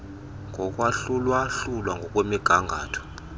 yokwahlula hlula ngokwemigangatho